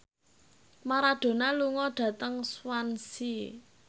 Maradona lunga dhateng Swansea